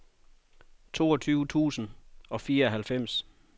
toogtyve tusind og fireoghalvfems